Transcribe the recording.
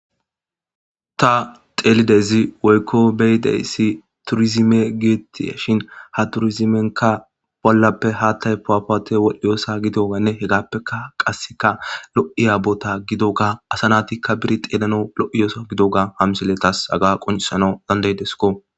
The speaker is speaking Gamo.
ta telidezi woykko beydeyssi turizime geettiashin ha turizimenka bollappe haattay powapote wodhiyoosa gidoanne hegappeka qasseka lo'iya bota gido ga asanatikka bir xeelano lo'ya so gidoga hamsiley tas haga qoncisanaw dandeydesko